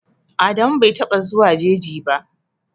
Adamu bai taɓa zuwan jeji ba.